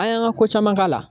An y'an ka ko caman k'a la